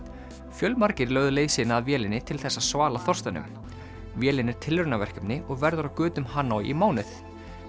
fjölmargir lögðu leið sína að vélinni til þess að svala þorstanum vélin er tilraunaverkefni og verður á götum Hanoi í mánuð